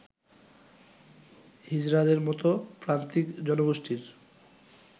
হিজড়াদের মতো প্রান্তিক জনগোষ্ঠীর